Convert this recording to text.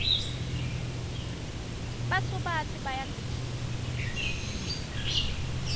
basubatsi bayagijima